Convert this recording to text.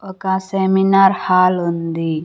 ఒక seminar hall ఉంది.